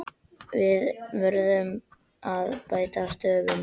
Við urðum bæði að hætta störfum.